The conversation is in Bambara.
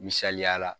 Misaliya la